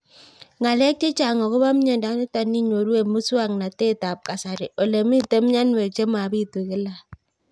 Ng'alek chechang' akopo miondo nitok inyoru eng' muswog'natet ab kasari ole mito mianwek che mapitu kila